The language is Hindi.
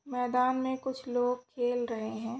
मैदान में कुछ लोग खेल रहे हैं।